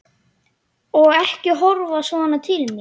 Og ekki horfa svona til mín!